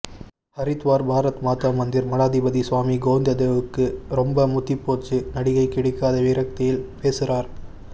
ஹரித்வார் பாரத் மாதா மந்திர் மடாதிபதி சுவாமி கோவிந்ததேவ் க்கு ரொம்ப முத்திப்போச்சு நடிகை கிடைக்காத விரக்தியில் பேசுறார்